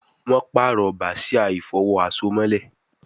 Wón parọ Bàsíà ìfọ̀wo àsomọ́lẹ̀